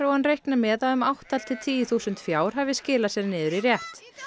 hann reiknar með að um átta til tíu þúsund fjár hafi skilað sér niður í rétt